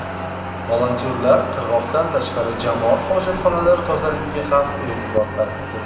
Volontyorlar qirg‘oqdan tashqari, jamoat hojatxonalari tozaligiga ham e’tibor qaratdi.